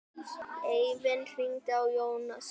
Eivin, hringdu í Jónösu.